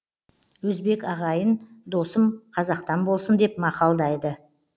өзбек ағайын досым қазақтан болсын деп мақалдайды